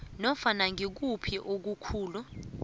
nofana ngikuphi okukhulu